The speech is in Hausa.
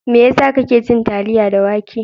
Mai yasa kake cin taliya da wake?